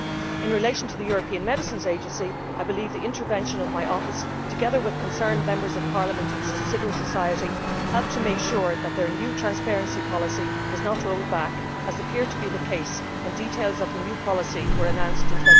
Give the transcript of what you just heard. In relation to the European Medicines Agency, I believe the intervention of my Office, together with concerned Members of Parliament and civil society, helped to make sure that their new transparency policy was not rolled back, as it had appeared it would be when details of the new policy were announced in